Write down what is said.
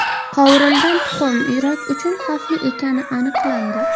Qovurilgan tuxum yurak uchun xavfli ekani aniqlandi.